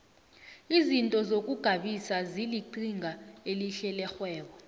izinto zokugabisa zilinqhinga elihle lerhwebo